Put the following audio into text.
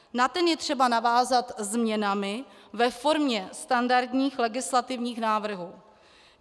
Na ten je třeba navázat změnami ve formě standardních legislativních návrhů.